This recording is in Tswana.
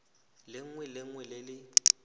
lengwe le lengwe le le